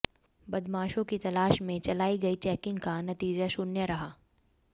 बदमाशों की तलाश में चलाई गई चैकिंग का नतीजा शून्य रहा